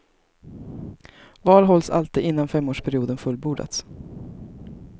Val hålls alltid innan femårsperioden fullbordats.